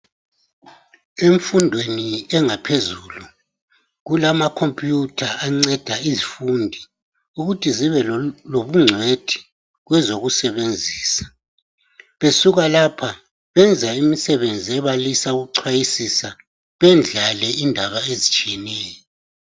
Emfundweni engaphezulu kulamakhomputha anceda izifundi ukuthi zibelobungcwethi kwezokusebenzisa besuka lapha benza imisebenzi ebalisa ukuchwayisisa bendlale indaba ezitshiyeneyo.